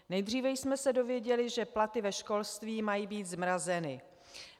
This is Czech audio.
Nejdříve jsme se dozvěděli, že platy ve školství mají být zmrazeny.